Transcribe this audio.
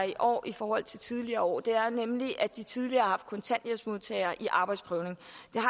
i år i forhold til tidligere år og det er nemlig at de tidligere har haft kontanthjælpsmodtagere i arbejdsprøvning